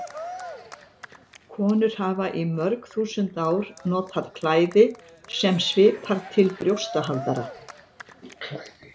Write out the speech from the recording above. Konur hafa í mörg þúsund ár notað klæði sem svipar til brjóstahaldara.